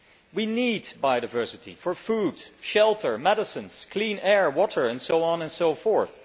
We need biodiversity for food, shelter, medicines, clean air, water, and so on and so forth.